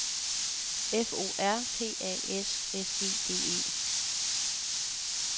F O R P A S S E D E